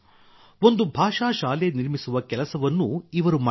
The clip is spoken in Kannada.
ಒಂದು ಭಾಷಾ ಶಾಲೆ ನಿರ್ಮಿಸುವ ಕೆಲಸವನ್ನೂ ಇವರು ಮಾಡಿದ್ದಾರೆ